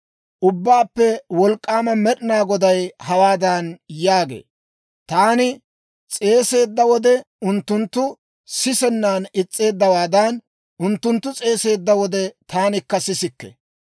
Ubbaappe Wolk'k'aama Med'inaa Goday hawaadan yaagee; «Taani s'eeseedda wode, unttunttu sisennan is's'eeddawaadan, unttunttu s'eeseedda wode, taanikka sisikke.